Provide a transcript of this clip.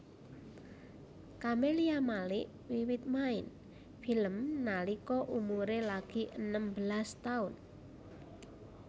Camelia Malik wiwit main film nalika umuré lagi enem belas taun